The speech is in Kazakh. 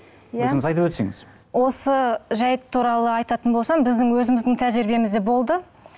иә өзіңіз айтып өтсеңіз осы жайт туралы айтатын болсам біздің өзіміздің тәжірибемізде болды